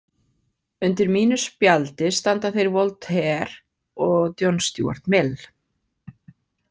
Undir mínu spjaldi standa þeir Voltaire og John Stuart Mill.